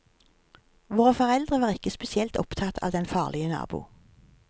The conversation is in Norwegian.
Våre foreldre var ikke spesielt opptatt av den farlige nabo.